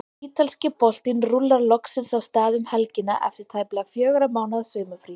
Ítalski boltinn rúllar loksins af stað um helgina eftir tæplega fjögurra mánaða sumarfrí.